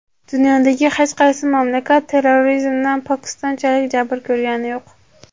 Dunyodagi hech qaysi mamlakat terrorizmdan Pokistonchalik jabr ko‘rgani yo‘q.